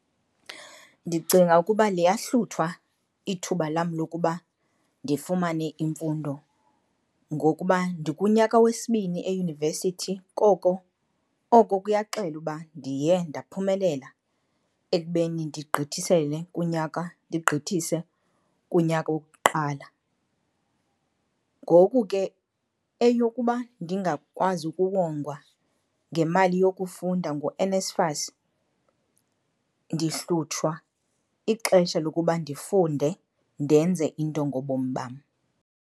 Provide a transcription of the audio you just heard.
Ndicinga ukuba liyahluthwa ithuba lam lokuba ndifumane imfundo ngokuba ndikunyaka wesibini eyunivesithi koko, oko kuyaxela uba ndiye ndaphumelela ekubeni ndigqithisele kunyaka, ndigqithise kunyaka wokuqala. Ngoku ke eyokuba ndingakwazi ukuwongwa ngemali yokufunda nguNSFAS ndihlutshwa ixesha lokuba ndifunde ndenze into ngobomi bam.